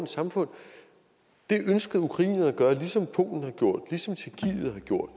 samfund det ønskede ukrainerne at gøre ligesom polen har gjort ligesom tjekkiet har gjort